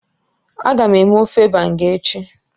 Agam eme ofe Banga echi